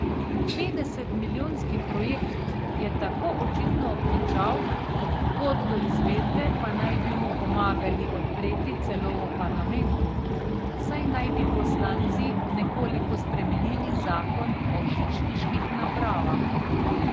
Petdesetmilijonski projekt je tako očitno obtičal, pot do izvedbe pa naj bi mu pomagali odpreti celo v parlamentu, saj naj bi poslanci nekoliko spremenili zakon o žičniških napravah.